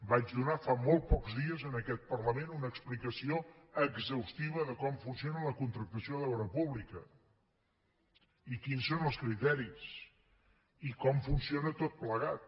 vaig donar fa molt pocs dies en aquest parlament una explicació exhaustiva de com funciona la contractació d’obra pública i quins són el criteris i com funciona tot plegat